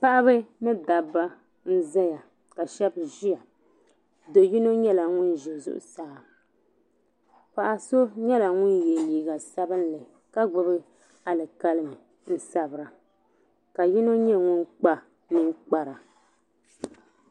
Paɣiba ni dabba n-zaya ka shɛba ʒiya do'yino nyɛla ŋun ʒe zuɣusaa paɣa so nyɛla ŋun ye liiga sabinli ka gbubi alikalimi n-sabira ka yino nyɛ ŋun kpa ninkpara.